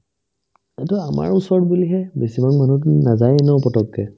এইটো আমাৰ ওচৰত বুলিহে বেছিভাগ মানুহতো নাযায়ে ন পতককে